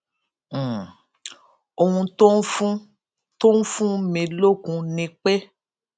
um ohun tó ń fún tó ń fún mi lókun ni pé